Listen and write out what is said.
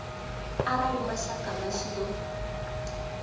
arali mashaka vha tshi ṱo